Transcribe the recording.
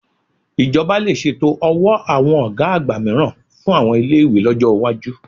Ìjọba lè ṣètò ọ̀wọ́ àwọn ògá àgbà mìíràn fún àwọn ilé-ìwé lọ́jọ́ ìwájú